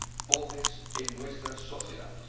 pobres en nuestras sociedades.